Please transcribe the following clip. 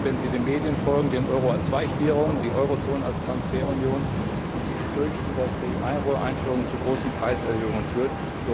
Sie sehen, wenn sie den Medien folgen, den Euro als Weichwährung, die Eurozone als Transferunion, und sie fürchten, dass die Euro Einführung zu großen Preiserhöhungen führt.